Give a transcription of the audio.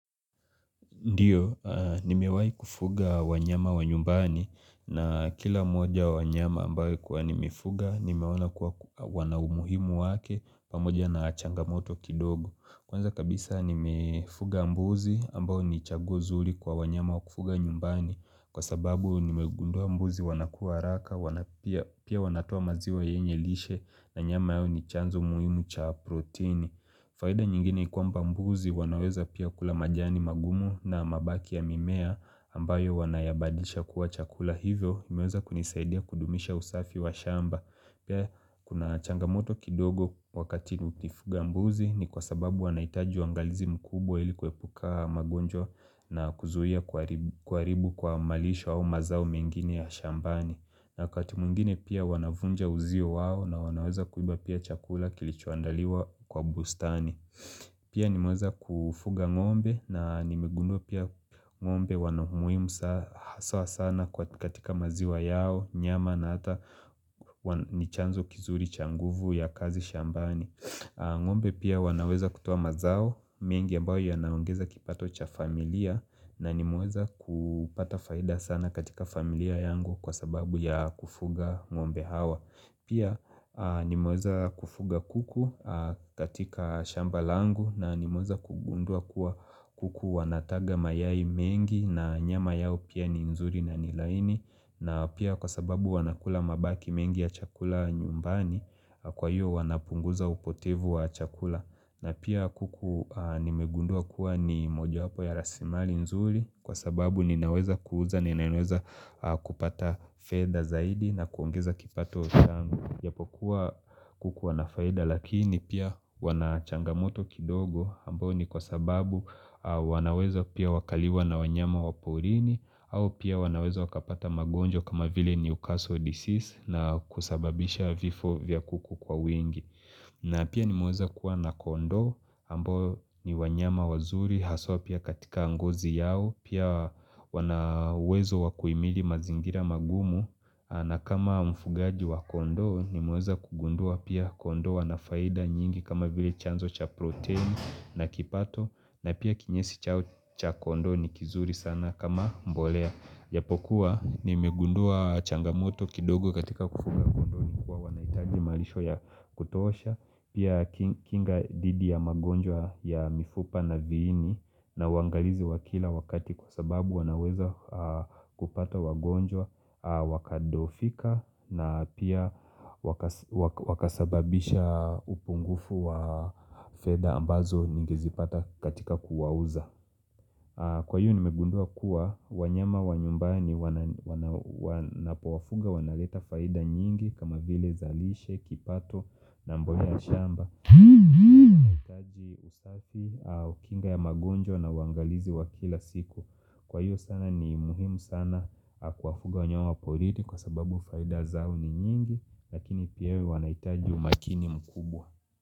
Ndiyo, nimewahi kufuga wanyama wa nyumbani na kila mmoja wa wanyama ambayo nilikua nimefuga nimeona kua wana umuhimu wake pamoja na changamoto kidogo. Kwanza kabisa nimefuga mbuzi ambayo ni chaguo nzuri kwa wanyama wa kufuga nyumbani kwa sababu nimegundua mbuzi wanakua haraka pia wanatoa maziwa yenye lishe na nyama yao ni chanzo muhimu cha proteini. Faida nyingine ni kwamba mbuzi wanaweza pia kula majani magumu na mabaki ya mimea ambayo wanayabadisha kuwa chakula hivyo imeweza kunisaidia kudumisha usafi wa shamba. Pia kuna changamoto kidogo wakati nikifuga mbuzi ni kwa sababu wanahitaji uangalizi mkubwa ili kuepuka magonjwa na kuzuia kuharibu kuharibu kwa malisho au mazao mingine ya shambani na wakati mwingine pia wanavunja uzio wao na wanaweza kuiba pia chakula kilichoandaliwa kwa bustani Pia nimeweza kufuga ng'ombe na nimegundua pia ng'ombe wana umuhimu hasa sana katika maziwa yao, nyama na hata nichanzo kizuri cha nguvu ya kazi shambani ng'ombe pia wanaweza kutoa mazao, mengi ambayo yanaongeza kipato cha familia na nimeweza kupata faida sana katika familia yangu kwa sababu ya kufuga ng'ombe hawa Pia nimeweza kufuga kuku katika shamba langu na nimeweza kugundua kuwa kuku wanataga mayai mengi na nyama yao pia ni mzuri na ni laini na pia kwa sababu wanakula mabaki mengi ya chakula nyumbani kwa hiyo wanapunguza upotevu wa chakula na pia kuku nimegundua kuwa nimojawapo ya rasilimali nzuri kwa sababu ninaweza kuuza ninaweza kupata fedha zaidi na kuongeza kipato changu Japokuwa kuku wanafaida lakini pia wanachangamoto kidogo ambayo ni kwa sababu wanaweza pia wakaliwa na wanyama waporini au pia wanaweza wakapata magonjwa kama vile newcastle disease na kusababisha vifo vya kuku kwa wingi na pia nimeweza kuwa na kondoo ambo ni wanyama wazuri haswa pia katika ngozi yao pia wana uwezo wakuhimili mazingira magumu na kama mfugaji wa kondoo nimeweza kugundua pia kondoo wanafaida nyingi kama vile chanzo cha protein na kipato na pia kinyesi chao cha kondoo ni kizuri sana kama mbolea japokuwa, nimegundua changamoto kidogo katika kufuga kondoo, nikua wanahitaji malisho ya kutosha, pia kinga dhidi ya magonjwa ya mifupa na viini na uwangalizi wakila wakati kwa sababu wanaweza kupata wagonjwa, wakadhoofika na pia wakasababisha upungufu wa fedha ambazo ningezipata katika kuwauza Kwa hiyo nimegundua kuwa wanyama wa nyumbani ninapo wafuga wanaleta faida nyingi kama vile zalishe, kipato, na mbolea ya shamba kinga ya magonjwa na uangalizi wa kila siku kwa hiyo sana ni muhimu sana kuwawafuga wanyama wa porini kwa sababu faida zao ni nyingi Lakini pia wanahtaji umakini mkubwa.